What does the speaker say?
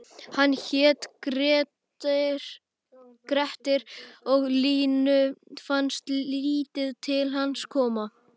Hann hét Grettir og Línu fannst lítið til hans koma: